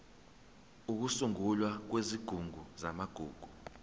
ukusungulwa kwesigungu samagugu